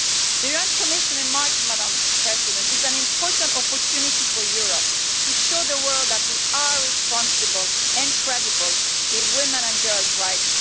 The UN Commission in March is an important opportunity for Europe to show the world that we are responsible and credible in women and girls' rights.